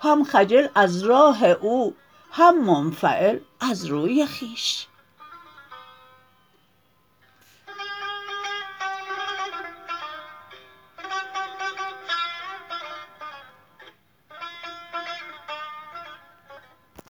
هم خجل از راه او هم منفعل از روی خویش